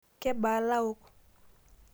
Kebaa laok?